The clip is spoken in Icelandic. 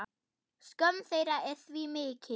Skömm þeirra er því mikil.